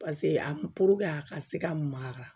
Paseke a a ka se ka mara